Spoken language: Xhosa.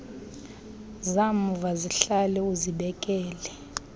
zamva zihlale uzibekele